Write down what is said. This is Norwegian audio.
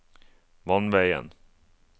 vannveien